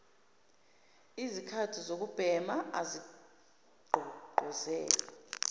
lzikhathi zokubhema azigqugquzelwa